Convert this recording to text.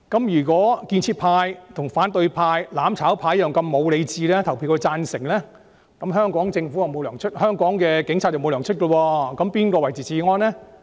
若建設派如反對派、"攬炒派"般失去理智，表決時投贊成票，那麼香港警察便不獲發薪，那誰來維持治安？